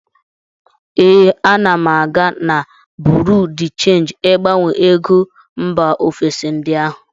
Ee, ana m aga na buru de chenji ịgbanwe ego mba ofesi ndị ahụ.